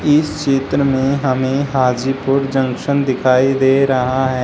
इस क्षेत्र में हमें हाजीपुर जंक्शन दिखाई दे रहा है।